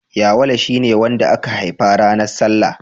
Yawale shi ne wanda aka haifa ranar salla.